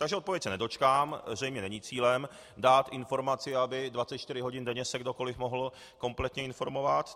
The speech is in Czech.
Takže odpovědi se nedočkám, zřejmě není cílem dát informaci, aby 24 hodin denně se kdokoliv mohl kompletně informovat.